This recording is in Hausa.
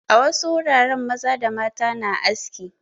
A wasu wuraren maza da mata na aski.